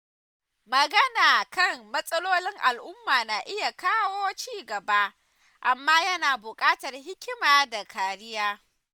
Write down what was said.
Magana kan matsalolin al’umma na iya kawo ci gaba, amma yana bukatar hikima da kariya.